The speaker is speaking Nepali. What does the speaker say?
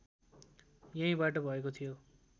यहीँबाट भएको थियो